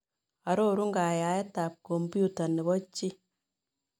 Arorun kaayaayetap kompyuta nepo chii